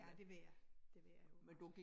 Ja det ved jeg det ved jeg jo godt